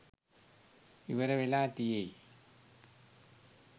ඉවර වෙලා තියෙයි.